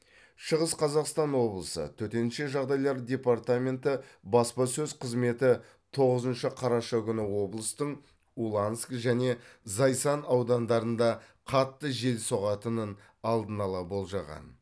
шығыс қазақстан облысы төтенше жағдайлар департаменті баспасөз қызметі тоғызыншы қараша күні облыстың уланск және зайсан аудандарында қатты жел соғатынын алдын ала болжаған